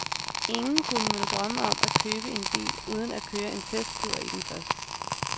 Ingen kunne vel drømme om at købe en bil uden at køre en testtur i den først.